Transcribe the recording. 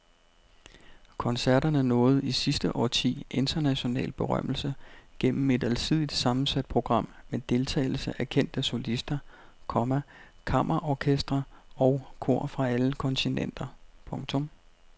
Koncerterne nåede i sidste årti international berømmelse gennem et alsidigt sammensat program med deltagelse af kendte solister, komma kammerorkestre og kor fra alle kontinenter. punktum